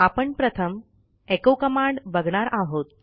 आपण प्रथम echo command बघणार आहोत